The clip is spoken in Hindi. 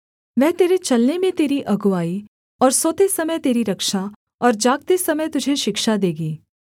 वह तेरे चलने में तेरी अगुआई और सोते समय तेरी रक्षा और जागते समय तुझे शिक्षा देगी